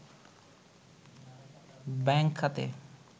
bank খাতে